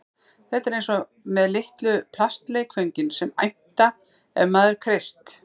Þetta er eins og með litlu plastleikföngin sem æmta ef maður kreist